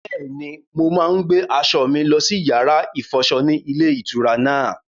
Bẹ́ẹ̀ni, mo máa ń gbé aṣọ mi lọ sí yàrá-ìfọṣọ ní ilé-ìtura náà.